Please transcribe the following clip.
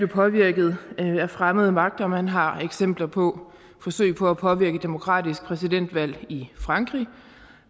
påvirket af fremmede magter man har eksempler på forsøg på at påvirke et demokratisk præsidentvalg i frankrig